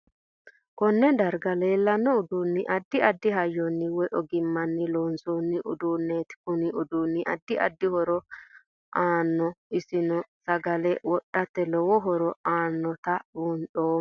Konne darga leelanno uduuniaddi addi hayyoni woy ogimnanni loosooni uduuneeti kuni uduuni addi addi hiro aanogo insano sagale wodhate lowo horo aanota buuxeemo